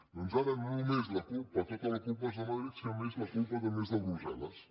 doncs ara no només la culpa tota la culpa és de madrid sinó que a més la culpa també és de brussel·les